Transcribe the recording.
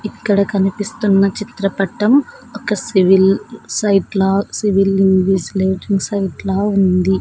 ఇక్కడ కనిపిస్తున్న చిత్రపటం ఒక సివిల్ సైట్ లా సివిల్ లింగ్వేజ్ లేటింగ్ సైట్ లా ఉంది.